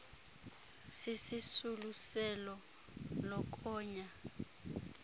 sisisulu selo lokonya